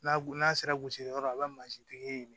N'a n'a sera gosi yɔrɔ la a bɛ mansintigi ye